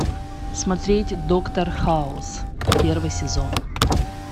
смотреть доктор хаус первый сезон